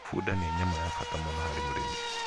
bunda nĩ nyamũ ya bata mũno harĩ mũrĩmi